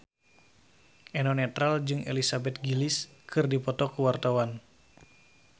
Eno Netral jeung Elizabeth Gillies keur dipoto ku wartawan